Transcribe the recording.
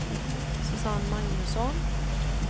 Susanne Magnusson